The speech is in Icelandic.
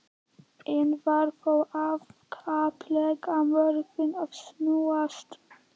Enn var þó í afskaplega mörgu að snúast.